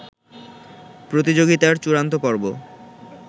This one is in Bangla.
প্রতিযোগিতার চূড়ান্ত পর্ব